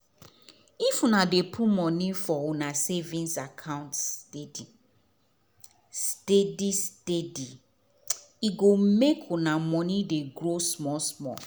if una dey put money for una savings account steady steady steadye go make una money dey grow small small.